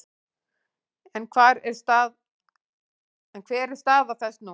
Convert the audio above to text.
En hver er stað þess nú?